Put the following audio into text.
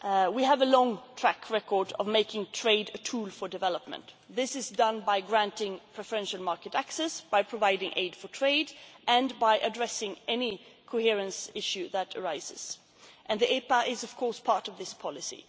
coherence. We have a long track record of making trade a tool for development. This is done by granting preferential market access, by providing aid for trade and by addressing any coherence issue that arises, and the EPA is, of course, part of